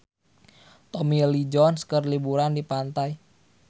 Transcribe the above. Tommy Lee Jones keur liburan di pantai